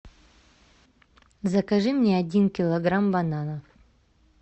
закажи мне один килограмм бананов